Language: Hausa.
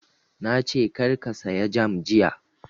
Na ce kar ka saya jam jiya!